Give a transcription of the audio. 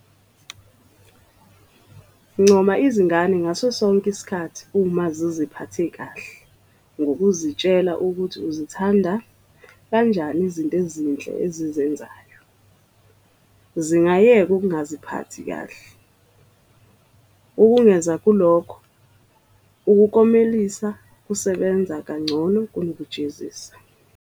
Ncoma izingane ngaso sonke isikhathi uma ziziphathe kahle ngokuzitshela ukuthi uzithanda kanjani izinto ezinhle ezizenzayo, zingayeka ukungaziphathi kahle. Ukengeza kulokho, ukuklomelisa kusebenza kangcono kunokujezisa.